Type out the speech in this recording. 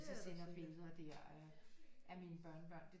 Hvis jeg sender billeder der af af mine børnebørn det